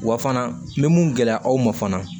Wa fana n bɛ mun gɛlɛya aw ma fana